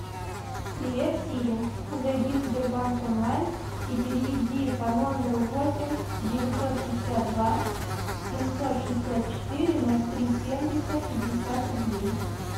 привет сири зайди в сбербанк онлайн и переведи по номеру восемь девятьсот пятьдесят два семьсот шестьдесят четыре ноль три семьдесят пятьдесят рублей